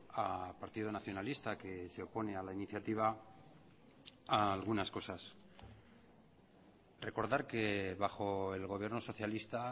al partido nacionalista que se opone a la iniciativa decirle algunas cosas recordar que bajo el gobierno socialista